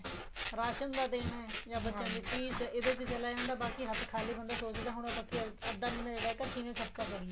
ration ਦਾ ਦੇਣਾ ਜਾਂ ਬੱਚਿਆਂ ਦੀ ਫੀਸ ਚਲਾ ਜਾਂਦਾ ਬਾਕੀ ਹੱਥ ਖਾਲੀ ਹੁੰਦਾ ਬੰਦਾ ਸੋਚਦਾ ਹੁਣ ਅੱਧਾ ਮਹੀਨਾ ਜਿਹੜਾ ਕਿਵੇਂ ਖਰਚਾ ਕਰੀਏ